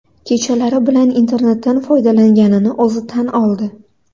Kechalari bilan internetdan foydalanganini o‘zi tan oldi.